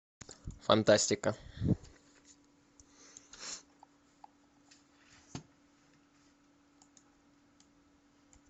фантастика